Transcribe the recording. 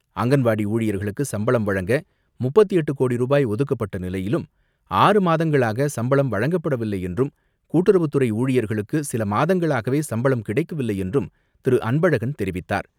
அங்கன்வாடி ஊழியர்களுக்கு சம்பளம் வழங்க முப்பத்து எட்டு கோடி ருபாய் ஒதுக்கப்பட்ட நிலையிலும் ஆறு மாதங்களாக சம்பளம் வழங்கப்படவில்லை என்றும் கூட்டுறவுத்துறை ஊழியர்களுக்கு சில மாதங்களாகவே சம்பளம் கிடைக்கவில்லை என்றும் திரு.அன்பழகன் தெரிவித்தார்.